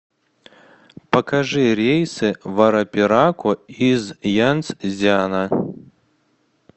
покажи рейсы в арапираку из янцзяна